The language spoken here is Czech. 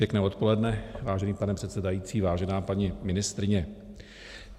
Pěkné odpoledne, vážený pane předsedající, vážená paní ministryně.